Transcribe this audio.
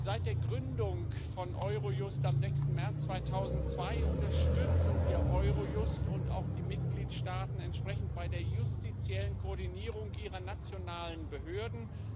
Seit der Gründung von Eurojust am 6. März 2002 unterstützen wir Eurojust und auch die Mitgliedstaaten entsprechend bei der justiziellen Koordinierung ihrer nationalen Behörden.